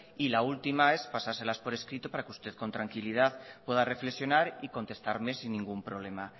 y la última es pasárselas por escrito para que usted con tranquilidad pueda reflexionar y contestarme sin ningún problema